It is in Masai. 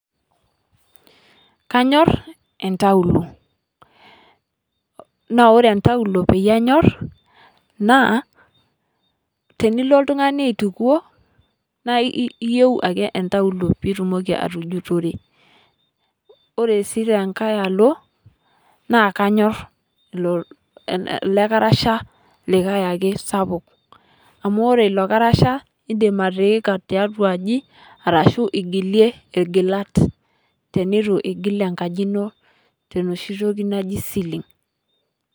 Kanyoor entauloo naa kore entauloo paa nyoor naa tiniloo ltung'ani aitukoo naa eiyeu ake entauloo piitumoki atujutore. Kore sii te nkaai aloo naa kanyoor loo lekarashaa likai ake sapuuk. Amu ore eloo lkarashaa iidim atiika te atua nkaaji arashu ing'ilee iljilaat tenetu ijiil enkaaji enoo tenoshii ntokii najii ceiling.